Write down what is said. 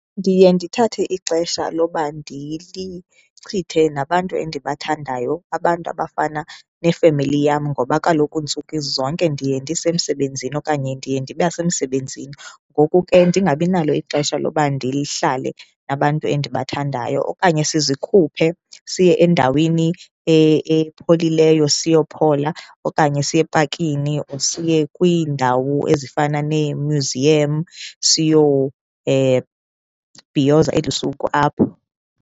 Ndiye ndithathe ixesha loba ndilichithe nabantu endibathandayo, abantu abafana nefemeli yam ngoba kaloku ntsuku zonke ndiye ndisemsebenzini okanye ndiye ndiba semsebenzini, ngoku ke ndingabi nalo ixesha loba ndihlale nabantu endibathandayo. Okanye sizikhuphe siye endaweni epholileyo, siyophola okanye siye epakini siye kwiindawo ezifana nemyuziyamu siyo bhiyoza eli suku apho.